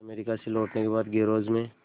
America से लौटने के बाद गैराज में